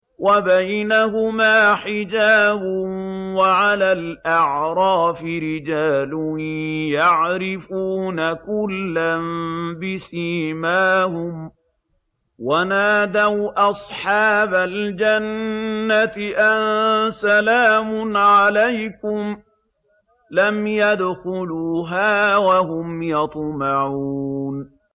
وَبَيْنَهُمَا حِجَابٌ ۚ وَعَلَى الْأَعْرَافِ رِجَالٌ يَعْرِفُونَ كُلًّا بِسِيمَاهُمْ ۚ وَنَادَوْا أَصْحَابَ الْجَنَّةِ أَن سَلَامٌ عَلَيْكُمْ ۚ لَمْ يَدْخُلُوهَا وَهُمْ يَطْمَعُونَ